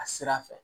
A sira fɛ